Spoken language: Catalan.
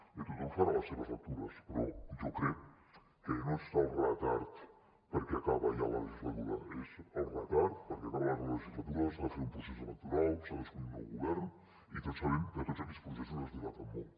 bé tothom farà les seves lectures però jo crec que no és el retard perquè acaba ja la legislatura és el retard perquè acaba la legislatura s’ha de fer un procés electoral s’ha d’escollir un nou govern i tots sabem que tots aquests processos es dilaten molt